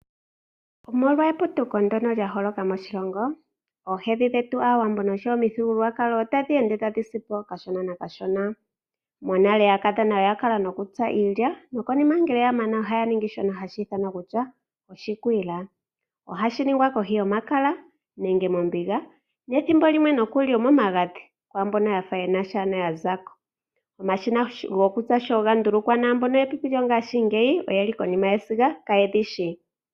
Omolwa eputuko ndyono lya holoka moshilongo oohedhi dhetu Aawambo oshowo omuthigululwakalo otadhi ende tadhi si po kashona nokashona. Monale aakadhona oya kala nokutsa iilya nokonima ngele ya mana ohaya ningi shono hashi ithanwa kutya oshikwiila. Ohashi ningwa kohi yomakala nenge mombiga, nethimbo limwe nokuli omomagadhi kwaa mboka ya fa ye na sha ano ya za ko. Omashina gokutsa sho ga ndulukwa mboka yepipi lyongaashingeyi oye li konima yesiga kaye dhi shi.